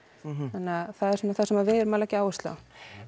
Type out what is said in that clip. þannig að það er svona sem við erum að leggja áherslu á